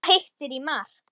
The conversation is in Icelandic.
Hvað hittir í mark?